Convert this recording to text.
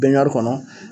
Bɛnbari kɔnɔ